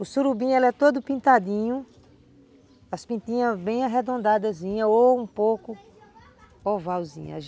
O surubim, ele é todo pintadinho, as pintinhas bem arredondadinhas ou um pouco ovalzinhas.